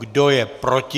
Kdo je proti?